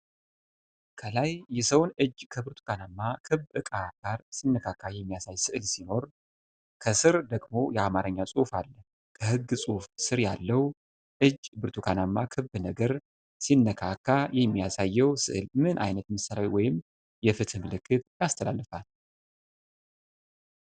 ። ከላይ የሰውን እጅ ከብርቱካናማ ክብ ዕቃ ጋር ሲነካክ የሚያሳይ ስዕል ሲኖር፣ ከሥር ደግሞ የአማርኛ ጽሑፍ አለ። ከሕግ ጽሑፉ ሥር ያለው፣ እጅ ብርቱካናማ ክብ ነገር ሲነካክ የሚያሳየው ስዕል ምን ዓይነት ምሳሌያዊ ወይም የፍትህ መልዕክት ያስተላልፋል?